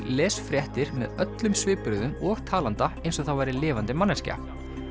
les fréttir með öllum svipbrigðum og talanda eins og það væri lifandi manneskja